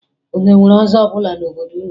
Unu e nwere ọzọ n'obodo unu?